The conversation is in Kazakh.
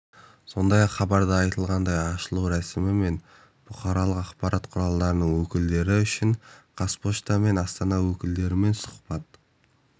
сондай-ақ хабарда айтылғандай ашылу рәсімі кезінде бұқаралық ақпарат құралдарының өкілдері үшін қазпошта мен астана өкілдерімен сұхбат